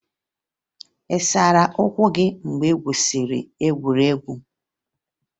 Ị sara ụkwụ gị mgbe ị gwusiri egwuregwu?